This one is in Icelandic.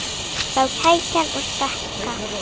Þá er kakan að stækka.